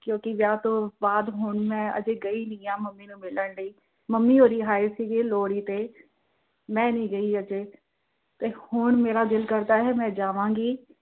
ਕਿਉਂਕੀ ਵਿਆਹ ਤੋਂ ਬਾਅਦ ਹੁਣ ਮੈਂ ਅਜੇ ਗਈ ਨਹੀਂ ਆ ਮੰਮੀ ਨੂੰ ਮਿਲਣ ਲਈ, ਮੰਮੀ ਮੇਰੇ ਆਏ ਸੀ ਲੋਹੜੀ ਤੇ, ਮੈਂ ਨਹੀਂ ਗਈ ਅਜੇ, ਹੁਣ ਮੇਰਾ ਦਿਲ ਕਰਦਾ ਏ ਮੈਂ ਜਾਵਾਂਗੀ।